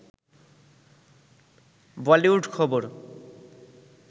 বলিউড খবর